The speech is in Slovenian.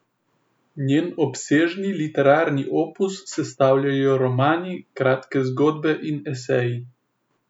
Njen obsežni literarni opus sestavljajo romani, kratke zgodbe in eseji.